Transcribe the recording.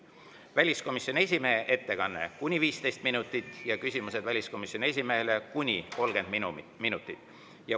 Väliskomisjoni esimehe ettekanne on kuni 15 minutit ja küsimused väliskomisjoni esimehele on kuni 30 minutit.